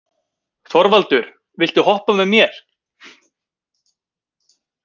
Þorvaldur, viltu hoppa með mér?